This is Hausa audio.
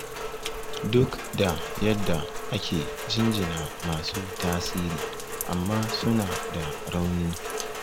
Duk da yadda ake jinjina masu tasiri amma suna da rauni